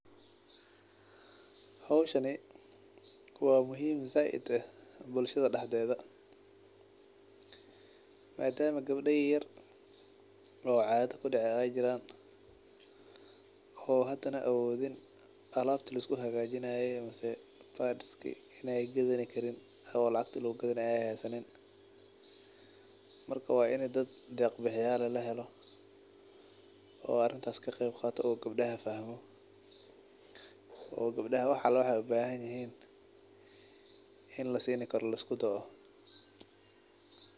Howshani wa muhim zaid ah bulshada daxdeda, madama gebda yaryar oo caada kudacde ay jiran, oo hadana awodin alabta liskuhagajinaye ama pads-ki in ay gadani karin mise lacagti lagugadanay ay haysanin, marka wa in deq bixiyal eh lahelo oo gebdahas fahmo , oo gebdaha wax ala wax ay ubahanyihin in lasin karo liskudao.